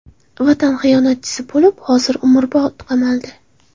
Vatan xiyonatchisi bo‘lib, hozir umrbod qamaldi.